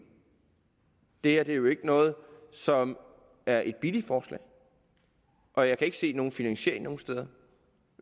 det her er jo ikke noget som er et billigt forslag og jeg kan ikke se nogen finansiering nogen steder